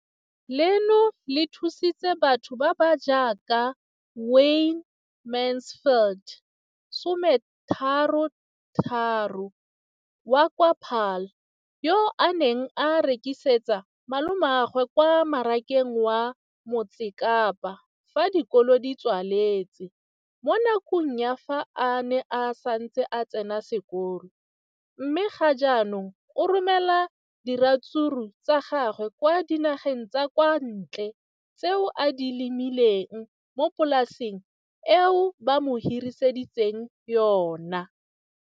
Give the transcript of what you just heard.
Leno le thusitse batho ba ba jaaka Wayne Mansfield, 33, wa kwa Paarl, yo a neng a rekisetsa malomagwe kwa Marakeng wa Motsekapa fa dikolo di tswaletse, mo nakong ya fa a ne a santse a tsena sekolo, mme ga jaanong o romela diratsuru tsa gagwe kwa dinageng tsa kwa ntle tseo a di lemileng mo polaseng eo ba mo hiriseditseng yona.